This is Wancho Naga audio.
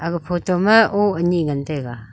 aga photo ma oah ani ngan tega.